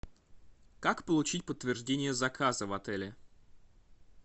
как получить подтверждение заказа в отеле